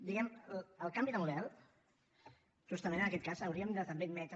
diguem ne el canvi de model justament en aquest cas hauríem de també admetre